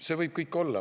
See võib kõik olla.